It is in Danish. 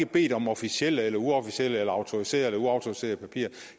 bedt om officielle eller uofficielle eller autoriserede eller uautoriserede papirer